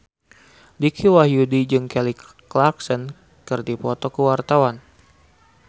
Dicky Wahyudi jeung Kelly Clarkson keur dipoto ku wartawan